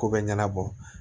Ko bɛ ɲɛnabɔ